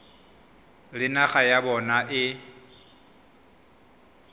le naga ya bona e